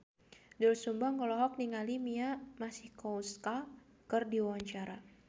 Doel Sumbang olohok ningali Mia Masikowska keur diwawancara